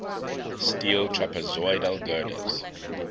steel trapezoidal girders